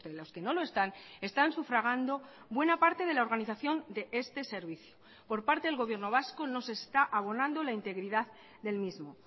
los que no lo están están sufragando buena parte de la organización de este servicio por parte del gobierno vasco no se está abonando la integridad del mismo